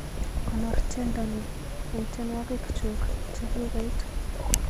Konoor tyendo ni eng tyenwogik chuk chegigoit